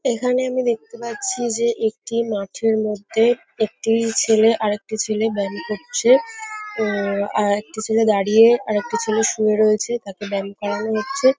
এখানে আমি দেখতে পাচ্ছি যে একটি মাঠের মধ্যে একটি ছেলে আরেকটি ছেলে ব্যাম করছে। আরেকটি ছেলে দাঁড়িয়ে আরেকটি ছেলে শুয়ে রয়েছে। তাঁকে ব্যাম করানো হচ্ছে।